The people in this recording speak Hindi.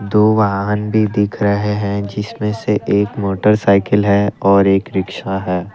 दो वाहन भी दिख रहे हैं जिसमें से एक मोटर साइकिल है और एक रिक्शा है।